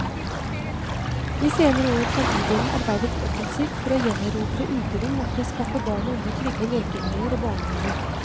I senere år har bydelen arbeidet offensivt for å gjenerobre uterom og for å skaffe barn og unge trygge lekemiljøer og barnehaver.